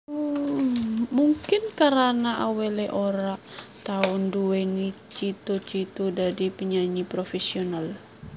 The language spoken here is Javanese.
Mungkin karana awalé ora tau anduweni cita cita dadi penyanyi professional